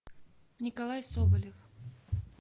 николай соболев